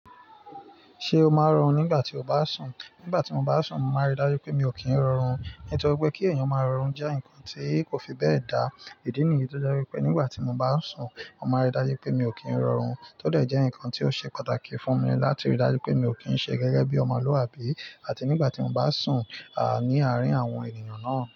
Ṣé o máa rọrùn nígbà tí o bá sùn? Nígbà tí mo bá sùn, mo máa rí dájú pé mi ò kí ń rọrùn. Nítorí pé kí èèyàn má rọrùn jẹ́ nǹkan tí kò fi bẹ́ẹ̀ dá. Ìdí nìyí tí ó jẹ́ wípé nígbà tí mo bá sùn, mo máa rí dájú pé mi ò kí ń rọrùn, tó dẹ̀ jẹ́ nǹkan tí ó ṣe pàtàkì fún mi láti rí dájú pé mi ò kí ń ṣe gẹ́gẹ́ bí ọmọlúàbí àti nígbà tí mo bá sùn, à, ní àárín àwọn ènìyàn náà.